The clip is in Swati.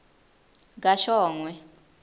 kashongwe